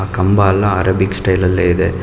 ಆ ಕಂಬಾ ಎಲ್ಲಾ ಅರೇಬಿಕ್ ಸ್ಟೈಲ್ ಅಲ್ಲಿ ಇದೆ.